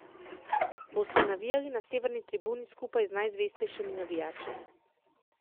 Boste navijali na severni tribuni skupaj z najzvestejšimi navijači?